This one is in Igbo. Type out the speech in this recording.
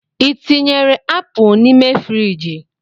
I tinyere apụ nime firigi?